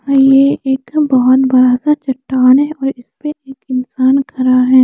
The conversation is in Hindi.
हा ये एक बोहोत बड़ा सा चट्टान है और इसमें एक इंशान खरा है।